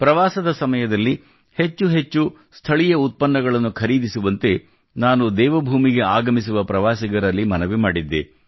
ಪ್ರವಾಸದ ಸಮಯದಲ್ಲಿ ಹೆಚ್ಚು ಹೆಚ್ಚು ಸ್ಥಳೀಯ ಉತ್ಪನ್ನಗಳನ್ನು ಖರೀದಿಸುವಂತೆ ನಾನು ದೇವಭೂಮಿಗೆ ಆಗಮಿಸುವ ಪ್ರವಾಸಿಗರಲ್ಲಿ ಮನವಿ ಮಾಡಿದ್ದೆ